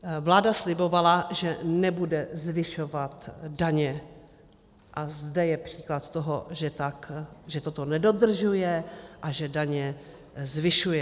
Vláda slibovala, že nebude zvyšovat daně, a zde je příklad toho, že toto nedodržuje a že daně zvyšuje.